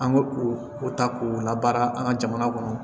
An ko k'u ta k'u labaara an ka jamana kɔnɔ